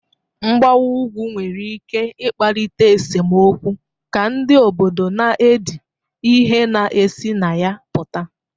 Mgbawa ugwu nwere ike ịkpalite esemokwu ka ndị obodo na edi ihe na-esi na ya pụta